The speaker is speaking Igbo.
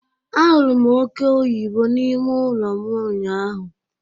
A hụrụ m oke oyibo n'ime ụlọ m ụnyaahụ.